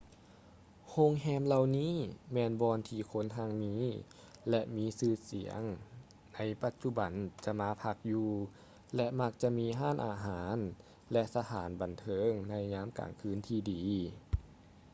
ໂຮງແຮມເຫຼົ່ານີ້ແມ່ນບ່ອນທີ່ຄົນຮັ່ງມີ ແລະ ມີຊື່ສຽງໃນປັດຈຸບັນຈະມາພັກຢູ່ ແລະ ມັກຈະມີຮ້ານອາຫານ ແລະ ສະຖານບັນເທີງໃນຍາມກາງຄືນທີ່ດີ